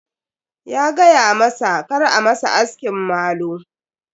Ya gayamasa kar a masa askin malu.